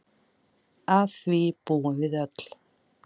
Að því búum við öll.